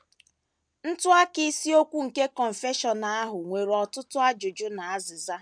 Ntụaka isiokwu nke Confession ahụ nwere ọtụtụ ajụjụ na azịza.